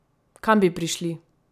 Kam bi prišli?